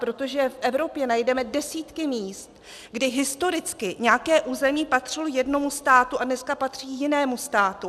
Protože v Evropě najdeme desítky míst, kdy historicky nějaké území patřilo jednomu státu a dneska patří jinému státu.